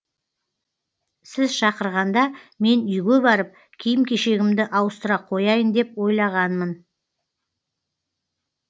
сіз шақырғанда мен үйге барып киім кешегімді ауыстыра қояйын деп ойлағанмын